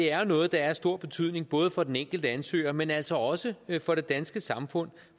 er jo noget der er af stor betydning både for den enkelte ansøger men altså også for det danske samfund